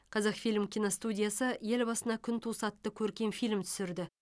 қазақфильм киностудиясы ел басына күн туса атты көркем фильм түсірді